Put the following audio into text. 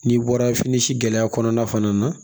N'i bɔra fini si gɛlɛya kɔnɔna fana na